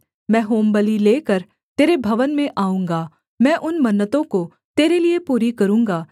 मैं होमबलि लेकर तेरे भवन में आऊँगा मैं उन मन्नतों को तेरे लिये पूरी करूँगा